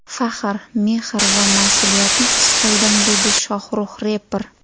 Faxr, mehr... va mas’uliyatni his qildim”, dedi Shohrux reper.